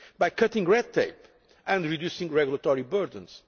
by cutting red tape and reducing regulatory burdens